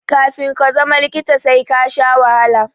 Kafi ka zama likita sai kasha wahala